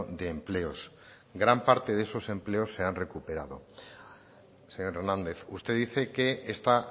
de empleos gran parte de esos empleos de han recuperado señor hernández usted dice que esta